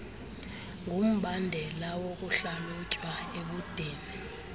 ngumbandela wokuhlalutywa ebudeni